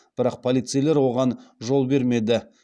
бірақ полицейлер оған жол бермеді